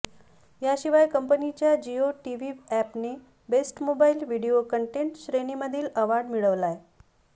याशिवाय कंपनीच्या जिओ टीव्ही अॅपने बेस्ट मोबाईल व्हिडीओ कंटेट श्रेणीमधील अॅवॉर्ड मिळवलाय